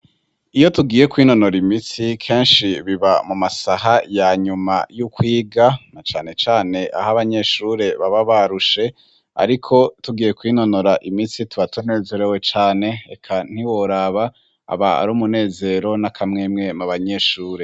Iyo tugiye kwinonora imitsi ,kenshi biba mu masaha ya nyuma y'ukwiga , cane cane aho abanyeshure baba barushe, ariko tugiye kwinonora imitsi tuba tunezerewe cane, eka ntiworaba aba ari umunezero n'akamwemwe mu banyeshure.